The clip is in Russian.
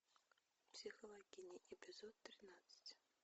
психологини эпизод тринадцать